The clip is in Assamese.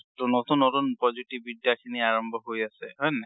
ট নতুন নতুন প্ৰজ্যোতি বিদ্যা খিনি আৰম্ভ হৈ আছে, হয় নাই?